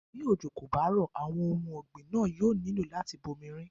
Bí òjò kò bá rọ̀, àwọn ohun ọ̀gbìn náà yóò nílò láti bomi rin.